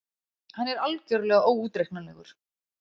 Hann er algerlega óútreiknanlegur!